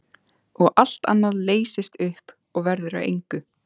Og allt annað leysist upp, verður að engu.